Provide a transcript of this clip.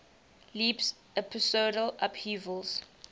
leaps episodal upheavals